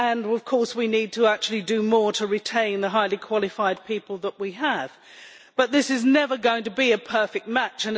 Of course, we need to actually do more to retain the highly qualified people that we have, but this is never going to be a perfect match.